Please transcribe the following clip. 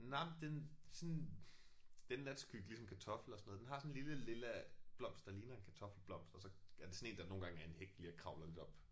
Nej men den sådan det er en natskygge ligesom kartofler og sådan noget. Den har sådan en lille lilla blomst der ligner en kartoffelblomst og så er det sådan en der nogle gange er en hæk lige og kravler lidt op